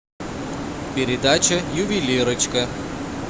передача ювелирочка